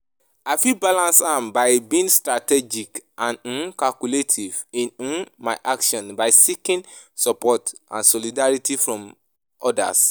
I fit balance am by being strategic and um calculative in um my actions by seeking support and solidarity from odas.